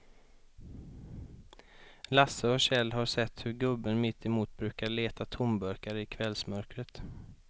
Lasse och Kjell har sett hur gubben mittemot brukar leta tomburkar i kvällsmörkret.